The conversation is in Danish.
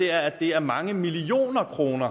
er at det er mange millioner kroner